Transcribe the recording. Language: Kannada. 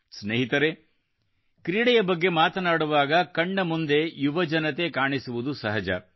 ಸ್ನೇಹಿತರೆ ಕ್ರೀಡೆಯ ಬಗ್ಗೆ ಮಾತನಾಡುವಾಗ ಕಣ್ಣ ಮುಂದೆ ಯುವಜನತೆ ಕಾಣಿಸುವುದು ಸಹಜ